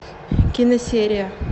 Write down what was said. киносерия